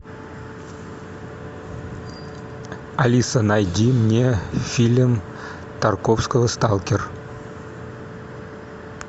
алиса найди мне фильм тарковского сталкер